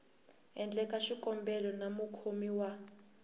endleke xikombelo na mukhomi wa